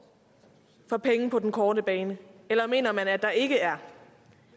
for penge på den korte bane eller mener man at der ikke er